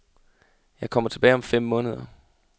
Jeg kommer tilbage om fem måneder.